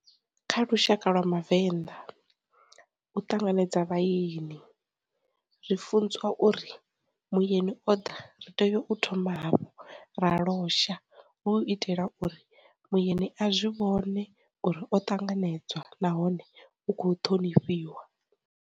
Kha lushaka lwa ma venḓa, u ṱanganedza vha yeni, zwi funzwa uri muyeni o ḓa, ri tea u thoma hafhu ra losha u itela uri muyeni a zwi vhone uri o tanganedzwa nahone u kho ṱhonifhiwa.